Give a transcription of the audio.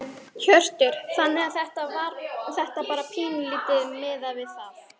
Hjörtur: Þannig að þetta bara pínulítið miðað við það?